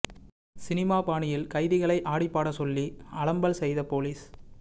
cinema பாணியில் கைதிகளை ஆடி பாட சொல்லி அலம்பல் செய்த பொலிஸ்